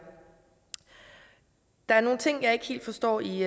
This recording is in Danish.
der er nogle ting jeg ikke helt forstår i